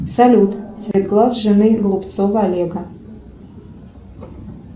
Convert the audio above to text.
салют цвет глаз жены голубцова олега